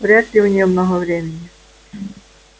вряд ли у неё много времени